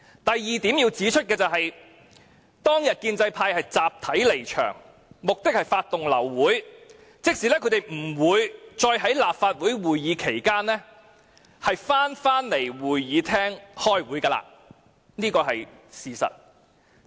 我要指出的第二點是，當天建制派集體離場，目的是發動流會，即他們不會在立法會會議期間重返會議廳開會，這是事實。